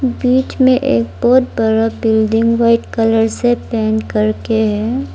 बीच में एक बहोत बड़ा बिल्डिंग व्हाइट कलर से पेंट करते हैं।